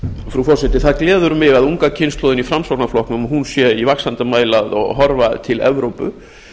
frú forseti það gleður mig að unga kynslóðin í framsóknarflokknum sé í vaxandi mæli að horfa til evrópu